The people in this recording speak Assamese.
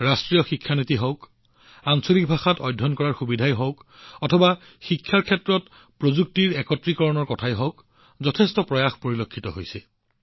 ৰাষ্ট্ৰীয় শিক্ষা নীতি হওক বা আঞ্চলিক ভাষাত অধ্যয়ন কৰাৰ বিকল্প হওক বা শিক্ষাৰ ক্ষেত্ৰত প্ৰযুক্তিৰ একত্ৰীকৰণেই হওক আপোনালোকে এনে বহুতো প্ৰচেষ্টা লক্ষ্য কৰিব